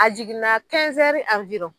A jiginna